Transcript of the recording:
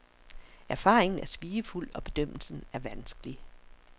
Erfaringen er svigefuld, og bedømmelsen er vanskelig.